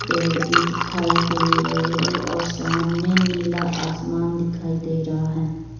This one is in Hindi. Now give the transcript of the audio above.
पेड़ भी दिखाई दे रहे हैं और सामने नीला आसमान दिखाई दे रहा है।